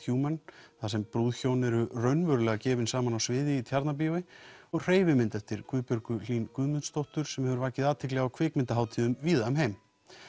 Human þar sem brúðhjón eru raunverulega gefin saman á sviði í Tjarnarbíó og hreyfimynd eftir Guðbjörgu Hlín Guðmundsdóttur sem hefur vakið athygli á kvikmyndahátíðum víða um heim